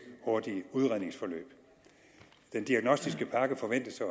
hurtige udredningsforløb den diagnostiske pakke forventes at